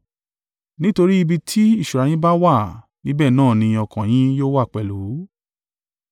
Nítorí ibi tí ìṣúra yín bá wà níbẹ̀ náà ni ọkàn yín yóò wà pẹ̀lú.